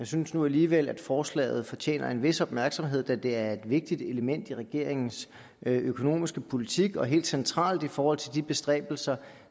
synes nu alligevel at forslaget fortjener en vis opmærksomhed da det er et vigtigt element i regeringens økonomiske politik og helt centralt i forhold til de bestræbelser